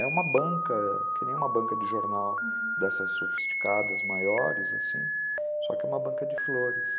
É uma banca, que nem uma banca de jornal, uhum, dessas sofisticadas maiores, assim, só que é uma banca de flores.